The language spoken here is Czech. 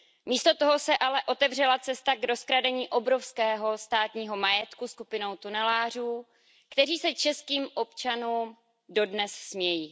Místo toho se ale otevřela cesta k rozkradení obrovského státního majetku skupinou tunelářů, kteří se českým občanům dodnes smějí.